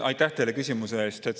Aitäh teile küsimuse eest!